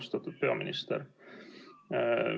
Austatud peaminister!